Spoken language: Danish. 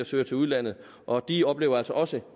søger til udlandet og de oplever altså også